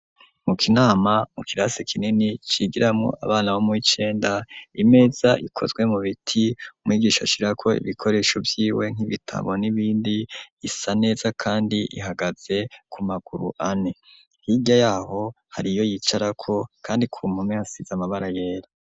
Mu kinama mu kirasi kinini cigiramwo abana bo muwi cenda imeza ikozwe mu biti umwigisha ashira ko ibikoresho vyiwe nk'ibitabo n'ibindi isa neza kandi ihagaze ku maguru ane, hirya yaho hariyo yicarako kandi ku mpome hasize amabara yera.